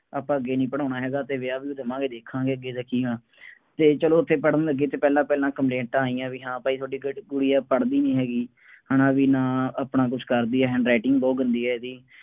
ਆਪਾਂ ਅੱਗੇ ਨਹੀਂ ਪੜ੍ਹਾਉਣਾ ਹੈਗਾ ਅਤੇ ਵਿਆਹ ਵਿਹੂ ਦੇਵਾਂਗੇ ਦੇਖਾਂਗੇ ਬਈ ਇਹਦਾ ਕੀ ਹੈ, ਅਤੇ ਚੱਲੋ ਉੱਥੇ ਪੜ੍ਹਨ ਲੱਗੀ ਤਾਂ ਪਹਿਲਾਂ ਪਹਿਲਾਂ ਕੰਪਲੇਟਾਂ ਆਈਆਂ ਬਈ ਹਾਂ ਭਾਈ ਤੁਹਾਡੀ ਜਿਹੜੀ ਕੁੜੀ ਹੈ ਪੜ੍ਹਦੀ ਨਹੀਂ ਹੈਗੀ। ਹੈ ਨਾ ਬਈ ਨਾ ਆਪਣਾ ਕੁੱਛ ਕਰਦੀ ਹੈ handwriting ਬਹੁਤ ਗੰਦੀ ਹੈ ਇਹਦੀ।